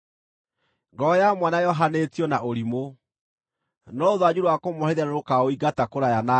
Ngoro ya mwana yohanĩtio na ũrimũ, no rũthanju rwa kũmũherithia nĩrũkaũingata kũraya nake.